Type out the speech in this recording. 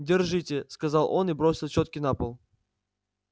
держите сказал он и бросил чётки на пол